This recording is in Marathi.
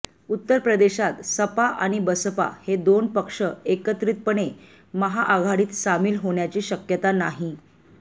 उत्तर प्रदेशात सपा आणि बसपा हे दोन पक्ष एकत्रितपणे महाआघाडीत सामील होण्याची शक्यता नाही